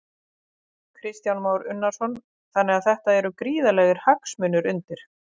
Kristján Már Unnarsson: Þannig að þetta eru gríðarlegir hagsmunir undir?